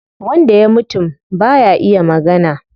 Wanda ya mutum baya iya magana